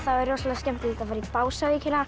er rosalega skemmtilegt að fara í